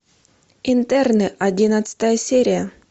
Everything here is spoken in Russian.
интерны одиннадцатая серия